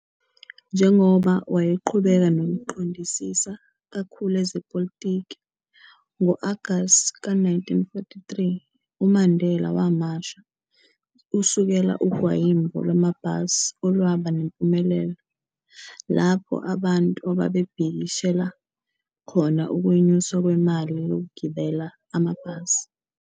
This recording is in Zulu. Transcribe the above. Njengoba wayeqhubeka nokuqondisisa kakhulu ezepolitiki, ngo-Agast ka-1943, uMandela wamasha, uusekela ugwayimbo lamabhasi olwaba nempumelelo, lapho abantu ababebhekiseshila khona ukwenyuswa kwemali yokugibela amabhasi.